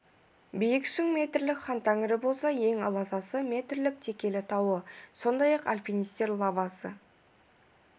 биік шың мың метрлік хан тәңірі болса ең аласасы метрлік текелі тауы сондай-ақ альпинистер лабасы